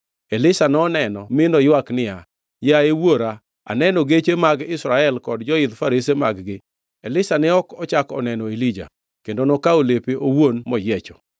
Elisha noneno mi noywak niya, “Yaye Wuora, aneno geche mag Israel kod joidh farese mag-gi.” Elisha ne ok ochako oneno Elija kendo nokawo lepe owuon moyiecho.